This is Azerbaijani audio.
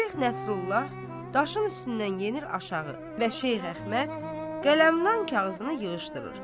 Şeyx Nəsrullah daşın üstündən enir aşağı və Şeyx Əhməd qələmnan kağızını yığışdırır.